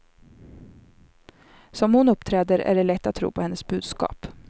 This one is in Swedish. Som hon uppträder är det lätt att tro på hennes budskap.